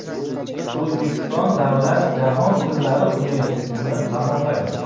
O‘zbekiston davlat jahon tillari universitetini tamomlagan.